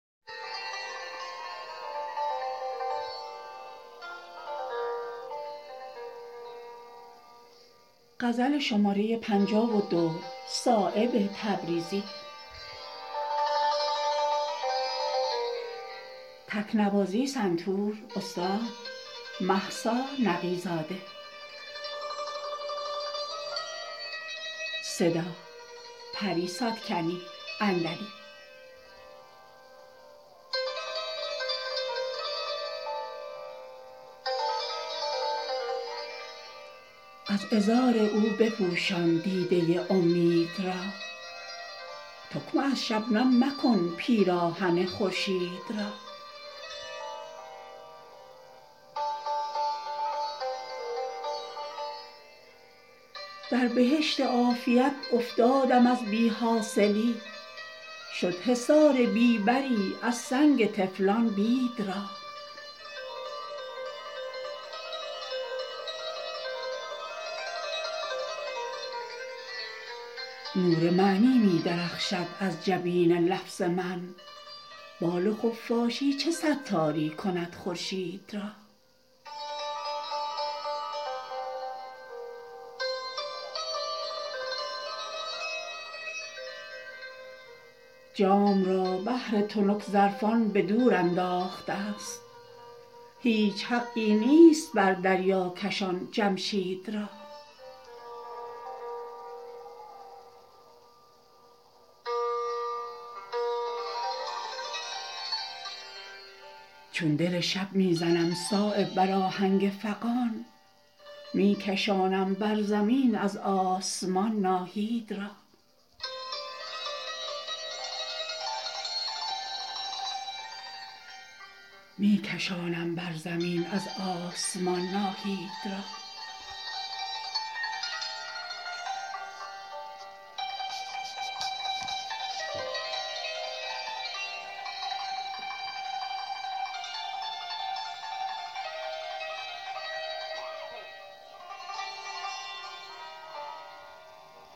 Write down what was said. از عذار او بپوشان دیده امید را تکمه از شبنم مکن پیراهن خورشید را در بهشت عافیت افتادم از بی حاصلی شد حصاری بی بری از سنگ طفلان بید را نور معنی می درخشد از جبین لفظ من بال خفاشی چه ستاری کند خورشید را جام را بهر تنک ظرفان به دور انداخته است هیچ حقی نیست بر دریاکشان جمشید را چون دل شب می زنم صایب بر آهنگ فغان می کشانم بر زمین از آسمان ناهید را